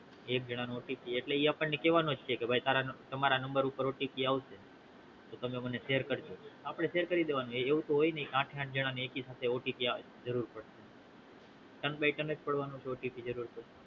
એક જણાનો OTP એટલે ઈ આપણને કેવા નોજ છે કે ભાઈ તારા તમારા નંવબર ઉપર OTP આવશે તો તમે મને share કરજો આપડે શેર કરી દેવાનો એવુંતો હોય ની કે આઠે આઠ જણા ને એકી સાથે OTP આવે જરૂર પડે એમ ભી તનેજ પાડવાનો છે જરૂર